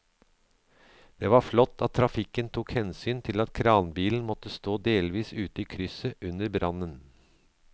Det var flott at trafikken tok hensyn til at kranbilen måtte stå delvis ute i krysset under brannen.